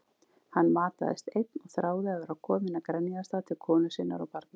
Hann mataðist einn og þráði að vera kominn að Grenjaðarstað til konu sinnar og barna.